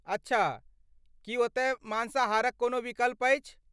अच्छा, की ओतय माँसाहारक कोनो विकल्प अछि?